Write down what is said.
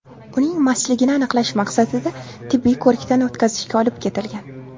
Uning mastligini aniqlash maqsadida tibbiy ko‘rikdan o‘tkazishga olib ketilgan.